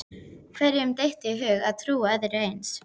Hverjum dytti í hug að trúa öðru eins?